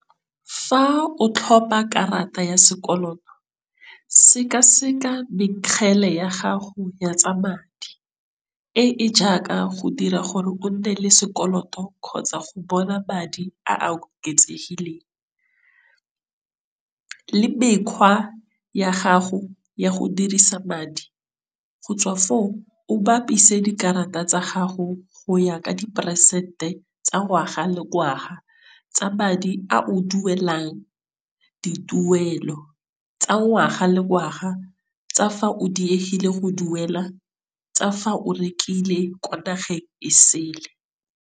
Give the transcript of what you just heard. Fa o tlhopha karata ya sekoloto sekaseka mekgele ya gago ya tsa madi, e e jaaka go dira gore o nne le sekoloto kgotsa go bona madi a a oketsegileng, le mekgwa ya gago ya go dirisa madi go tswa foo, o bapise dikarata tsa gago go ya ka diperesente tsa ngwaga le ngwaga tsa madi a o duelang dituelo tsa ngwaga le ngwaga tsa fa o diegile go duela, tsa fa o rekile kwa nageng e sele.